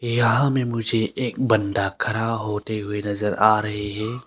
यहां में मुझे एक बंदा खरा होते हुए नजर आ रहे हैं।